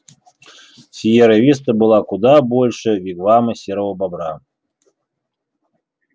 сиерра виста была куда больше вигвама серого бобра